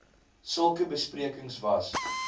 sulke besprekings was